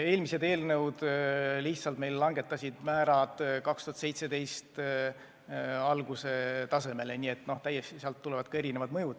Eelmised eelnõud lihtsalt nägid ette määrade langetamise 2017. aasta alguse tasemele ja ka selle mõju pidi olema erinev.